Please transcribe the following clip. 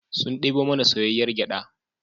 Sun debo mana soyayyar gyada